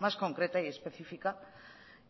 más concreta y específica